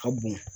Ka bon